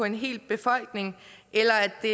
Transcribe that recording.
en hel befolkning eller at det